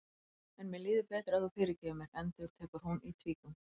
En mér líður betur ef þú fyrirgefur mér, endurtekur hún í tvígang.